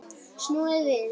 Snúið við.